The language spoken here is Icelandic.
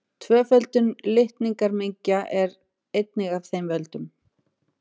Tvöföldun litningamengja er einnig af þeim völdum.